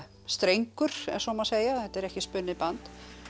strengur ef svo má segja þetta er ekki spunnið band